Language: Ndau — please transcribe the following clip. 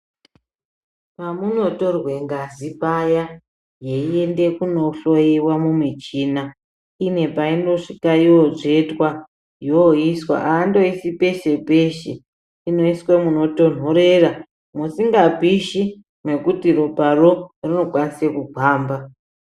Pamunotorwe ngazi paya yeienda kunohloyiwa mumichina ine painosvika yonotsvetwa yoiswa haandoisi peshe peshe inoiswe munotonhorera musikapishi ngekuti ropa ro rinokwanise kugwamba .